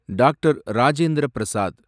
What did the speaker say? Doctor. Rajendra Prasad